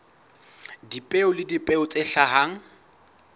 dipeo le dipeo tse hlahang